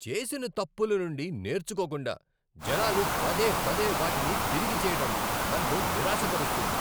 చేసిన తప్పుల నుండి నేర్చుకోకుండా జనాలు పదేపదే వాటిని తిరిగి చేయడం నన్ను నిరాశపరుస్తుంది.